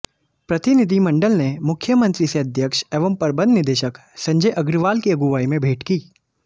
प्रतिनिधिमंडल ने मुख्यमंत्री से अध्यक्ष एवं प्रबन्ध निदेशक संजय अग्रवाल की अगुवाई में भेंट की